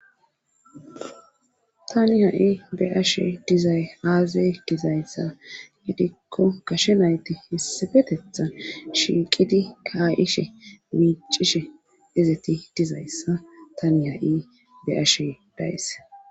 Tani ha'i be ashe dizay aazay dizayssa gidikko kashe nayti hessafetetha shiiqidi kaayishe miicishe izeti dizayssa tani ha'i beashe dayis.